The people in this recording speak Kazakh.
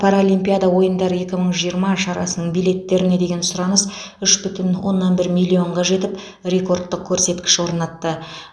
паралимпиада ойындары екі мың жиырма шарасының билеттеріне деген сұраныс үш бүтін оннан бір миллионға жетіп рекордтық көрсеткіш орнатты